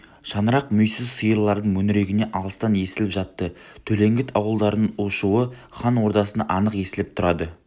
шаңырақ мүйіз сиырлардың мөңірегені алыстан естіліп жатты төлеңгіт ауылдарының у-шуы хан ордасына анық естіліп тұрады